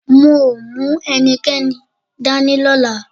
Mi ò mú ẹnikẹ́ni dání lọ́la